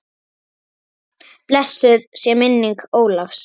Blessuð sé minning Ólafs.